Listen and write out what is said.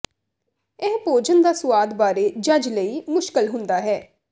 ਇਹ ਭੋਜਨ ਦਾ ਸੁਆਦ ਬਾਰੇ ਜੱਜ ਲਈ ਮੁਸ਼ਕਲ ਹੁੰਦਾ ਹੈ